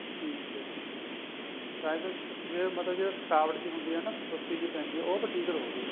ਠੀਕ ਏ ਠੀਕ ਏ ਵੈਸੇ ਜੇ ਮਤਲਬ ਜੇ ਥਕਾਵਟ ਜੀ ਹੁੰਦੀ ਏ ਨਾ ਸੁਸਤੀ ਜੀ ਪੈਂਦੀ ਏ ਉਹ ਫੇਰ ਠੀਕ ਰਹੁਗੀ